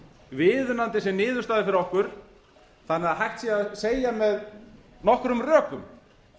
viðunandi sem niðurstaða fyrir okkur þannig að hægt sé að segja með nokkrum rökum